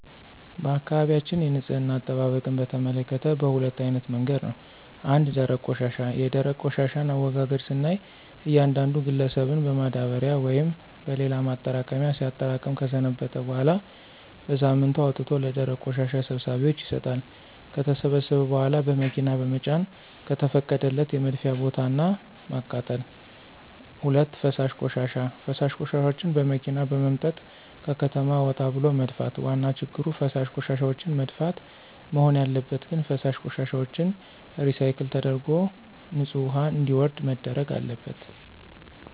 በአካባቢያችን የንፅህና አጠባበቅን በተመከተ በሁለት አይነት መንገድ ነው። ፩) ደረቅ ቆሻሻ፦ የደረቅ ቆሻሻን አወጋገድ ስናይ እያንዳንዱ ግለሰብን በማዳበሪያ ወይም በሌላ ማጠራቀሚያ ሲያጠራቅም ከሰነበተ በኋላ በሳምንቱ አውጥቶ ለደረቅ ቆሻሻ ሰብሳቢዎች ይሰጣሉ። ከተሰበሰበ በኋላ በመኪና በመጫን ከተፈቀደለት የመድፊያ ቦታ እና ማቃጠል። ፪) ፈሳሽ ቆሻሻ፦ ፈሳሽ ቆሻሻዎችን በመኪና በመምጠጥ ከከተማ ወጣ ብሎ መድፋት። ዋና ችግሩ ፈሳሽ ቆሻሻዎችን መድፋት? መሆን ያለበት ግን ፈሳሽ ቆሻሻዎችን ሪሳይክል ተደርጎ ንፅህ ውሀ እንዲወርድ መደረግ አለበት።